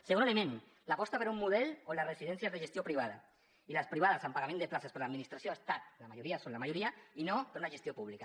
segon element l’aposta per un model on la residència és de gestió privada i les privades amb pagament de places per l’administració han estat la majoria són la majoria i no per una gestió pública